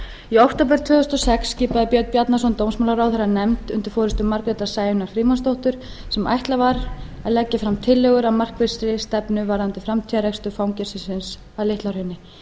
í október tvö þúsund og sex skipaði björn bjarnason dómsmálaráðherra nefnd undir forustu margrétar sæunnar frímannsdóttur sem ætlað var að leggja fram tillögur að markvissri stefnu varðandi framtíðarrekstur fangelsisins að litla hrauni